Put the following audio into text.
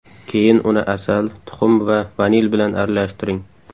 Keyin uni asal, tuxum va vanil bilan aralashtiring.